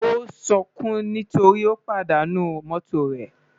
Ó ń sunkún nítorí ó pàdánù mọ́tò rẹ̀